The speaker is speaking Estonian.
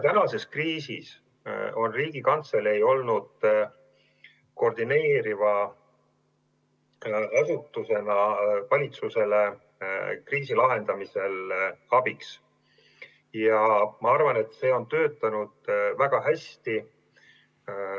Praeguses kriisis on Riigikantselei koordineeriva asutusena valitsusele kriisi lahendamisel abiks olnud ja ma arvan, et see on töötanud väga hästi.